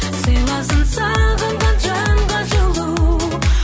сыйласын сағынған жанға жылу